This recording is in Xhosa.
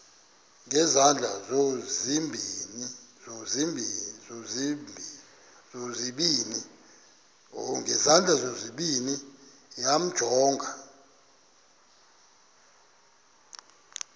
ngezandla zozibini yamjonga